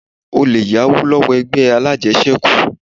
O lè yáwó lọ́wọ́ ẹgbẹ́ alájẹsẹ́kù